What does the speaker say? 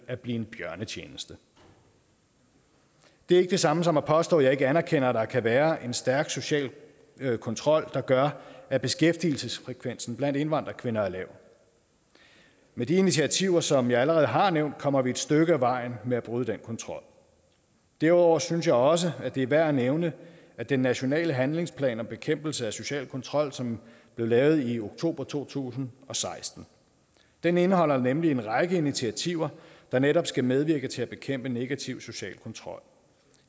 at blive en bjørnetjeneste det er ikke det samme som at påstå at jeg ikke anerkender at der kan være en stærk social kontrol der gør at beskæftigelsesfrekvensen blandt indvandrerkvinder er lav med de initiativer som jeg allerede har nævnt kommer vi et stykke ad vejen med at bryde den kontrol derudover synes jeg også at det er værd at nævne den nationale handlingsplan om bekæmpelse af social kontrol som blev lavet i oktober to tusind og seksten den indeholder nemlig en række initiativer der netop skal medvirke til at bekæmpe negativ social kontrol